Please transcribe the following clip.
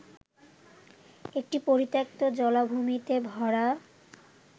একটি পরিত্যক্ত, জলাভূমিতে ভরা